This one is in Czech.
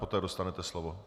Poté dostanete slovo.